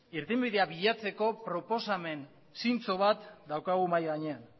irtenbidea bilatzeko proposamen zintzo bat daukagu mahai gainean